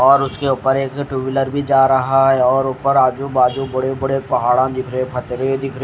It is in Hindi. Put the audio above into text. और उसके ऊपर एक टू व्हीलर भी जा रहा है और ऊपर आजु बाजू बड़े बड़े पहाड़ा रहे पथरे दिख रहे--